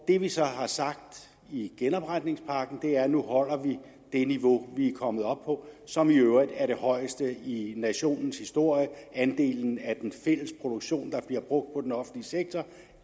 det vi så har sagt i genopretningspakken er at vi nu holder det niveau vi er kommet op på som i øvrigt er det højeste i nationens historie andelen af den fælles produktion der bliver brugt på den offentlige sektor